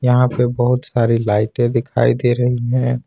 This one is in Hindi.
यहां पे बहुत सारी लाइटें दिखाई दे रही है।